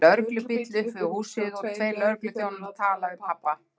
Það var lögreglubíll upp við húsið og tveir lögregluþjónar að tala við pabba!